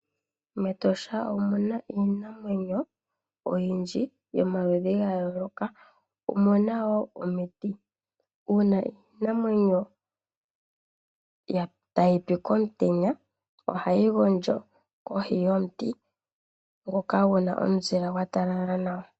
Metosha omu na iinamwenyo oyindji yomaludhi ga yooloka omu na wo omiti uuna iinamwenyo tayi pi komutenya oha yi gondjo kohi yomuti ngoka gu na omuzile gwa talala nawa.